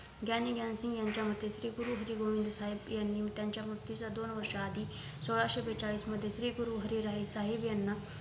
ज्ञानी ज्ञान साहेब यांच्या मते श्री गुरु हरी गोविंद साहेब यांनी त्यांच्या मुक्तीच्या दोन वर्षांच्या आधी सोळाशे बेचाळीस मध्ये श्री गुरु हरी राय साहेब यांना